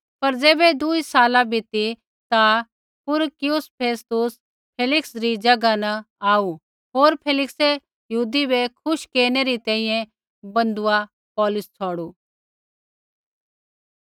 पर ज़ैबै दूई साला बीती ता पुरिकयुस फेस्तुस फेलिक्सै री ज़ैगा न आऊ होर फेलिक्सै यहूदी बै खुश केरनै री तैंईंयैं बन्धुआ पौलुस छ़ौड़ू